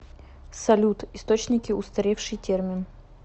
салют источники устаревший термин